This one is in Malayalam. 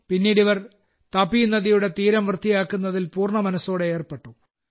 പിന്നീട് ഇവർ താപി നദിയുടെ തീരം വൃത്തിയാക്കുന്നതിൽ പൂർണ്ണമനസ്സോടെ ഏർപ്പെട്ടു